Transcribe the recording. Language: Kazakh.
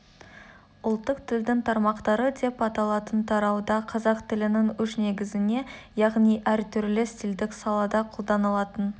ұлттық тілдің тармақтары деп аталатын тарауда қазақ тілінің үш негізіне яғни әр түрлі стилдік салада қолданылатын